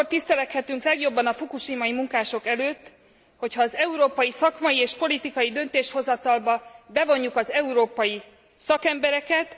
Akkor tiszteleghetünk legjobban a fukushimai munkások előtt, hogyha az európai szakmai és politikai döntéshozatalba bevonjuk az európai szakembereket.